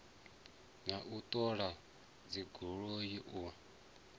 na u ṱola dzigoloi u